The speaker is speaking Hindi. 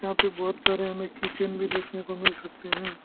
यहां पे बहोत सारे हमें कि चैन भी देखने को मिल सकते हैं।